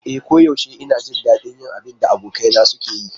E koyaushe ina jin daɗin yin abin da abokaina suke yi.